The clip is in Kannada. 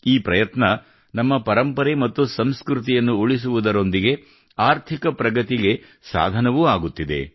ಈ ಪ್ರಯತ್ನ ನಮ್ಮ ಪರಂಪರೆ ಮತ್ತು ಸಂಸ್ಕೃತಿಯನ್ನು ಉಳಿಸುವುದರೊಂದಿಗೆ ಆರ್ಥಿಕ ಪ್ರಗತಿಗೆ ಸಾಧನವೂ ಆಗುತ್ತಿದೆ